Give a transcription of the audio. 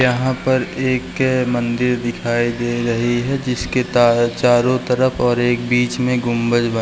यहाँ पर एक कै मंदिर दिखाई दे रही है जिसके ता चारो तरफ और एक बीच में गुम्बद बन --